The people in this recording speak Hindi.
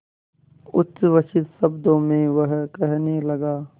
उच्छ्वसित शब्दों में वह कहने लगा